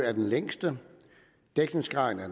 er den længste dækningsgraden er